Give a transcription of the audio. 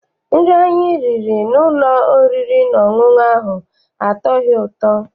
Nri anyị riri n'ụlọ oriri na ọṅụṅụ ahụ atọghị ụtọ.